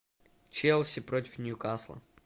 челси против ньюкасла